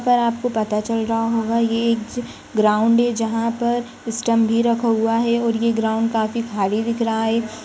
पर आपको पता चल रहा होगा ये एक ग्राउंड है जहाँ पर स्टंप भी रखा हुआ है और ये ग्राउंड काफी खाली दिख रहा है।